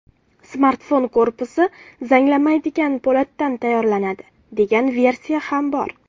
Smartfon korpusi zanglamaydigan po‘latdan tayyorlanadi, degan versiya ham bor.